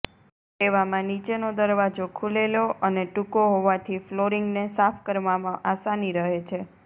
તેવામાં નીચેનો દરવાજો ખુલે લો અને ટૂંકો હોવાથી ફ્લોરિંગ ને સાફ કરવામાં આસાની રહે છે